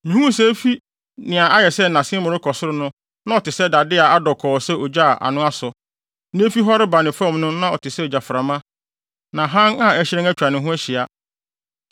Mihuu sɛ efi nea ayɛ sɛ nʼasen mu rekɔ ne soro no na ɔte sɛ dade a adɔ kɔɔ sɛ ogya a ano asɔ, na efi hɔ reba ne fam no na ɔte sɛ ogyaframa; na hann a ɛhyerɛn atwa ne ho ahyia.